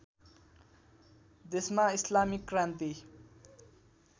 देशमा इस्लामिक क्रान्ति